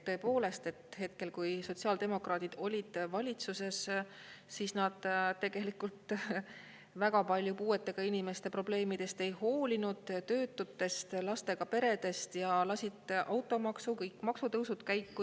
Tõepoolest, hetkel, kui sotsiaaldemokraadid olid valitsuses, siis nad tegelikult väga palju puuetega inimeste probleemidest ei hoolinud, töötutest, lastega peredest ja lasid automaksu, kõik maksutõusud käiku.